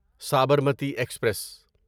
Sabarmati express